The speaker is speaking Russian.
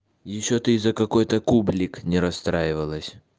ещё ты из-за какой-то кублик не расстраивалась